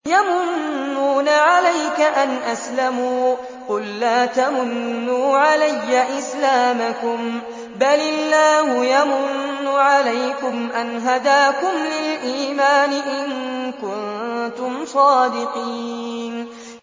يَمُنُّونَ عَلَيْكَ أَنْ أَسْلَمُوا ۖ قُل لَّا تَمُنُّوا عَلَيَّ إِسْلَامَكُم ۖ بَلِ اللَّهُ يَمُنُّ عَلَيْكُمْ أَنْ هَدَاكُمْ لِلْإِيمَانِ إِن كُنتُمْ صَادِقِينَ